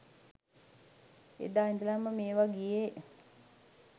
එදා ඉදලම මේවා ගියේ